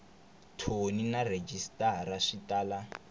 thoni na rhejisitara swi tala